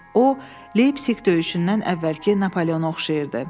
O, Leypsik döyüşündən əvvəlki Napoleona oxşayırdı.